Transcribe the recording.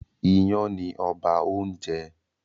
Ìyàn ni ọba oúnjẹ